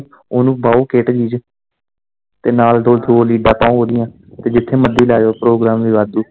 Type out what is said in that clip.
ਉਨੂੰ ਪਾਉ ਕੇਸਟ ਜਿਹੀ ਚ ਤੇ ਨਾਲ ਦੋ ਲੀਡਾਂ ਪਾਉ ਓਦੀਆ ਤੇ ਜਿੱਥੇ ਮਰਜ਼ੀ ਲਾਓ ਪ੍ਰੋਗਰਾਮ ਤੇ ਵਾਧੂ